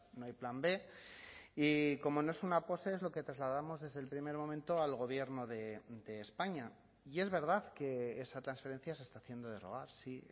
no hay plan b y como no es una pose es lo que trasladamos desde el primer momento al gobierno de españa y es verdad que esa transferencia se está haciendo de rogar sí